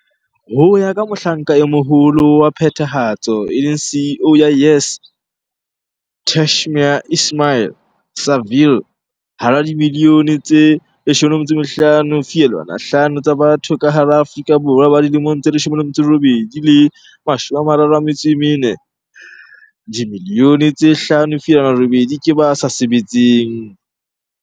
Ho ya ka Mohlanka e Moholo wa Phethahatso, e leng CEO, ya YES Tashmia Ismail-Saville, hara dimilione tse 15.5 tsa batho ka hara Aforika Borwa ba dilemong tse 18 le 34, 5.8 milione ke ba sa sebetseng.